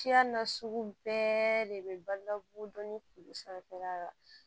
Siya nasugu bɛɛ de bɛ balo la kodɔn ni kulu sanfɛla la